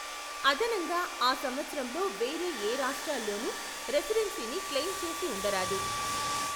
అదనంగా, ఆ సంవత్సరంలో వేరే ఏ రాష్ట్రాల్లోనూ రెసిడెన్సీని క్లెయిమ్ చేసి ఉండరాదు.